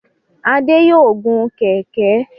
Adé yòó gun kẹ̀ẹ̀kẹ́.